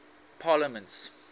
parliaments